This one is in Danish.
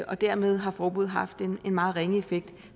og dermed har forbuddet haft en meget ringe effekt